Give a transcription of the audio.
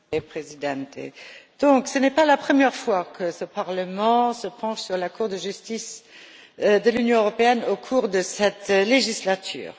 Monsieur le Président, ce n'est pas la première fois que ce Parlement se penche sur la Cour de justice de l'Union européenne au cours de cette législature.